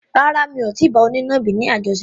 Rárá, mi ò tí ì bá onínàbì ni àjọṣepọ̀.